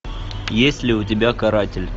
есть ли у тебя каратель